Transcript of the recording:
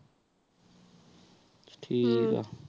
ਠੀਕ ਆਹ